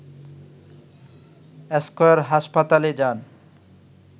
square হাসপাতালে যান